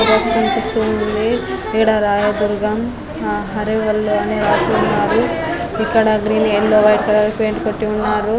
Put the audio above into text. Bus కనిపిస్తూ ఉంది. ఇక్కడ రాయదుర్గం హరే వల్లే అని రాసి ఉంది ఇకద green yellow white colour paint కొట్టి ఉన్నారు.